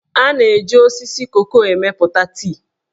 A na-eji osisi koko emepụta tii.